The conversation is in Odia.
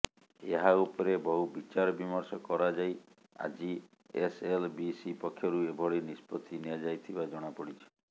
ଏହା ଉପରେ ବହୁ ବିଚାର ବିମର୍ଷ କରାଯାଇ ଆଜି ଏସଏଲବିସି ପକ୍ଷରୁ ଏଭଳି ନିଷ୍ପତ୍ତି ନିଆଯାଇଥିବା ଜଣାପଡିଛି